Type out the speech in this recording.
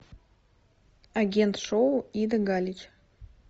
агент шоу ида галич